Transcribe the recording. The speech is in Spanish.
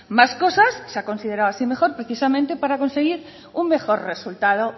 más cosas se ha considerado así mejor precisamente para conseguir un mejor resultado